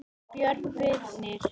Björn Birnir.